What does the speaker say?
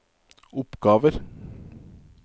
oppgaver